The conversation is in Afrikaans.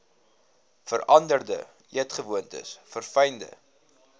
veranderde eetgewoontes verfynde